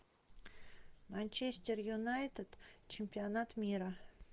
манчестер юнайтед чемпионат мира